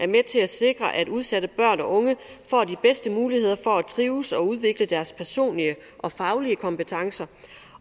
med til at sikre at udsatte børn og unge får de bedste muligheder for at trives og udvikle deres personlige og faglige kompetencer